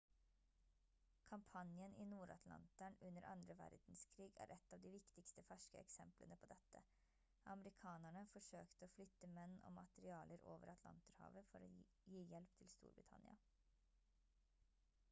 kampanjen i nord-atlanteren under andre verdenskrig er et av de viktigste ferske eksemplene på dette amerikanerne forsøkte å flytte menn og materialer over atlanterhavet for å gi hjelp til storbritannia